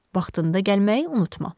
Vaxtında gəlməyi unutma.